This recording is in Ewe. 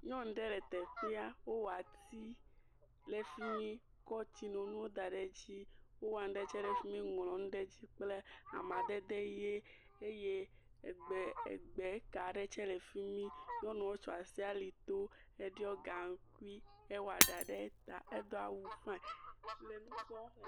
Nyɔnu ɖe le teƒea, wowɔ ati, ɖe fi mi, kɔ tsinonu da dzi, wowɔ nu ɖe tsɛ ɖe fi mi ŋlɔ nu dzi kple amadede ʋe, eye egbe egbe ka ɖe tsɛ ɖe fi mi, nyɔnuɔ tsɔ asi alito heɖɔ gaŋkui, ewɔ ɖa ɖe ta, edo awu fain, le nu kpɔm…